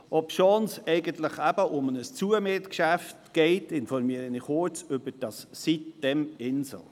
Obschon es eigentlich um ein Zumietgeschäft geht, informiere ich kurz über sitem-insel.